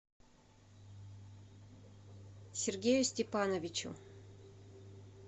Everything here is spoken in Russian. сергею степановичу